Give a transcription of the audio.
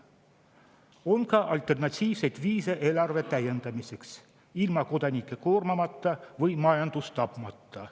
On ka alternatiivseid viise eelarve täiendamiseks, ilma kodanikke koormamata või majandust tapmata.